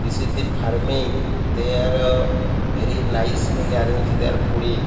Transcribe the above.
this is the farming they are very nicely arrange their fooding.